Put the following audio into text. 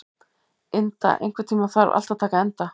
Inda, einhvern tímann þarf allt að taka enda.